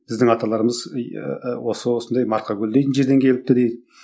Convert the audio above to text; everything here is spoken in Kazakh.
біздің аталарымыз ыыы осы осындай марқакөл дейтін жерден келіпті дейді